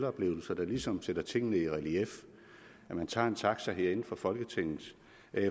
oplevelser der ligesom sætter tingene i relief når man tager en taxa herinde fra folketinget